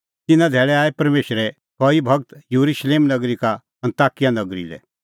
तिन्नां धैल़ै आऐ परमेशरे कई गूर येरुशलेम नगरी का अन्ताकिया नगरी लै